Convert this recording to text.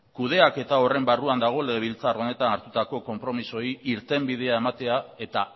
kudeaketa horren barruan dago legebiltzar honetan hartutako konpromiosei irtenbidea ematea eta